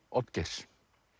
Oddgeirs